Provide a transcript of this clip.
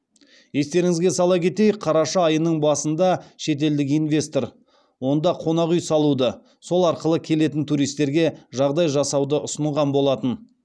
естеріңізге сала кетейік қараша айының басында шетелдік инвестор онда қонақ үй салуды сол арқылы келетін туристерге жағдай жасауды ұсынған болатын